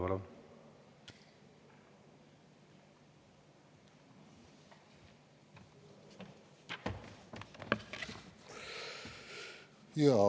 Palun!